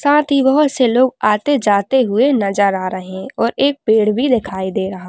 साथ ही बहोत से लोग आते जाते हुए नजर आर है और एक पेड़ भी दिखाई दे रहा --